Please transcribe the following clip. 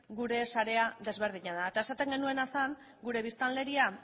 gure sarea desberdina da eta esaten genuena zen gure biztanleria